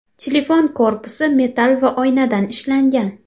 Telefon korpusi metall va oynadan ishlangan.